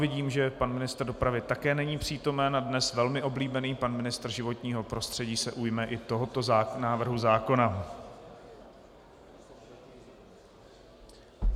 Vidím, že pan ministr dopravy také není přítomen a dnes velmi oblíbený pan ministr životního prostředí se ujme i tohoto návrhu zákona.